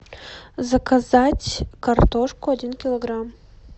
заказать картошку один килограмм